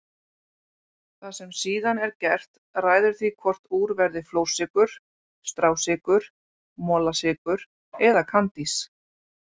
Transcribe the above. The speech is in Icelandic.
Það sem síðan er gert ræður því hvort úr verði flórsykur, strásykur, molasykur eða kandís.